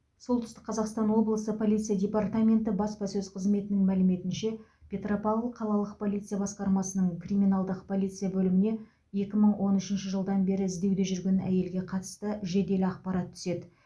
солтүстік қазақстан облысы полиция департаменті баспасөз қызметінің мәліметінше петропавл қалалық полиция басқармасының криминалдық полиция бөліміне екі мың он үшінші жылдан бері іздеуде жүрген әйелге қатысты жедел ақпарат түседі